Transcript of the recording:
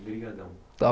Obrigadão. Está